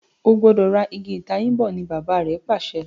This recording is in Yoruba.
o gbọdọ rà Ìgi ìtayín bó! ní Bàbá rẹ pàṣẹ.